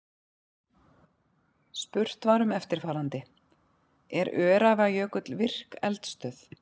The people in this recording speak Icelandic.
Spurt var um eftirfarandi: Er Öræfajökull virk eldstöð?